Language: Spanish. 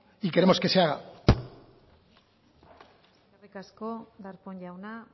y queremos que se haga eskerrik asko darpón jauna